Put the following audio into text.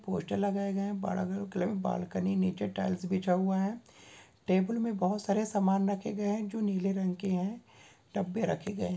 Poster लगाए गए है बालकनी नीचे टाइल्स बीछा हुआ है टेबल मे बहुत सारे समान रखे गए है जो नीले रंग के है डब्बे रखे गए है।